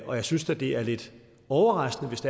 og jeg synes da det er lidt overraskende hvis